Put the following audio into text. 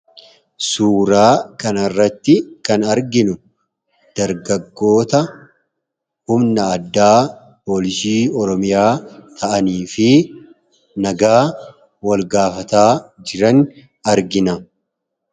Suuraa kanarratti kan arginu dargaggoota humna addaa poolisii oromiyaa ta'anii fi nagaa wal gaafataa jiran argina.